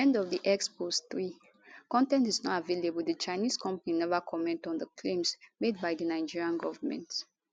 end of x post 3 con ten t is not available di chinese company neva comment on di claims made by di nigerian govment